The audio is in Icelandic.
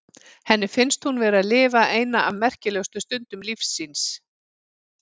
Henni finnst hún vera að lifa eina af merkilegustu stundum lífs síns.